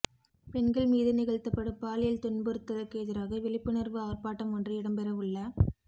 பெண்கள் மீது நிகழ்த்தப்படும் பாலியல் துன்புறுத்தலுக்கு எதிராக விழிப்புணர்வு ஆர்ப்பாட்டம் ஒன்று இடம்பெற உள்ள